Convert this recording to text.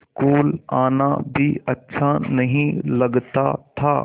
school आना भी अच्छा नहीं लगता था